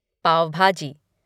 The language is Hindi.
पाव भाजी